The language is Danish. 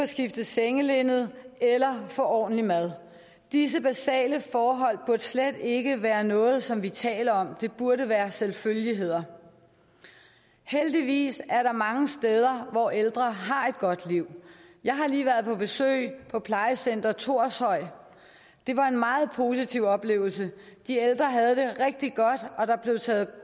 skiftet sengelinned eller få ordentlig mad disse basale forhold burde slet ikke være noget som vi taler om det burde være selvfølgeligheder heldigvis er der mange steder hvor ældre har et godt liv jeg har lige været på besøg på plejecenter thorshøj det var en meget positiv oplevelse de ældre havde det rigtig godt og der blev taget